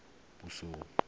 puiso